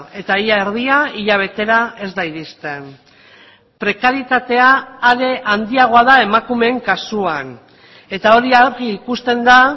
eta ia erdia hilabetera ez da iristen prekaritatea are handiagoa da emakumeen kasuan eta hori argi ikusten da